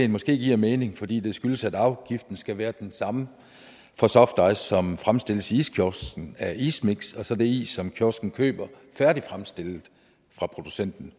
måske giver mening fordi det skyldes at afgiften skal være den samme for softice som fremstilles i iskiosken af ismiks og så det is som kiosken køber færdigfremstillet fra producenten